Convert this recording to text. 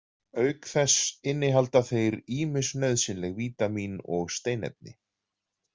Auk þess innihalda þeir ýmis nauðsynleg vítamín og steinefni.